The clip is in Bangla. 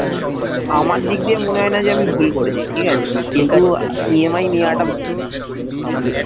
আমার দিক দিয়ে মনে হয়না যে আমি ভুল করেছি ঠিক আছে কিন্তু আহ EMI নেয়াটা ভুল বুঝলি